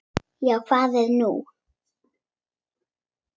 Já, hvað er nú?